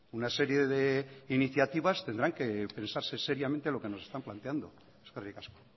una serie de iniciativas tendrán que pensarse seriamente lo que nos están planteando eskerrik asko